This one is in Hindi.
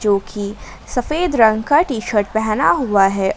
जो कि सफेद रंग का टी_शर्ट पहना हुआ है।